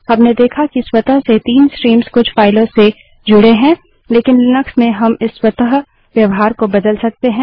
हमने देखा कि स्वतः से 3 स्ट्रीम्स कुछ फाइलों से जुड़ें हैं लेकिन लिनक्स में हम इस स्वतः व्यवहार को बदल सकते हैं